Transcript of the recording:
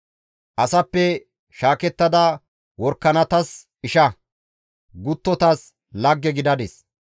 Asappe shaakettada worakanatas isha, guttotas lagge gidadis.